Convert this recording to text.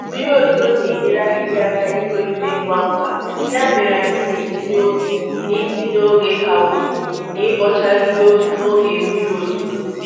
Mmiri ozuzo na-enyere ahịhịa aka itolite ngwa ngwa, ya mere anyị na-etinye oge na-etinye oge ka ukwuu n'ibocha ahịhịa n'oge mmiri ozuzo.